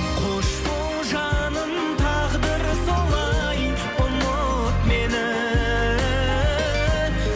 қош бол жаным тағдыр солай ұмыт мені